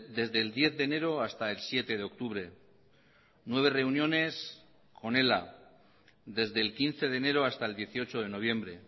desde el diez de enero hasta el siete de octubre nueve reuniones con ela desde el quince de enero hasta el dieciocho de noviembre